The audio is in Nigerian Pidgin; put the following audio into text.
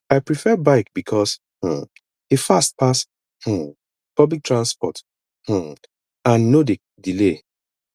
i prefer bike because um e fast pass um public transport um and no dey delay